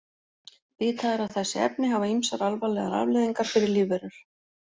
Vitað er að þessi efni hafa ýmsar alvarlegar afleiðingar fyrir lífverur.